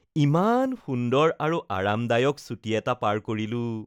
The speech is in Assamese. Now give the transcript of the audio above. ইমান সুন্দৰ আৰু আৰামদায়ক ছুটী এটা পাৰ কৰিলোঁ